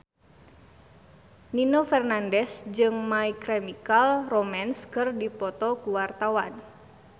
Nino Fernandez jeung My Chemical Romance keur dipoto ku wartawan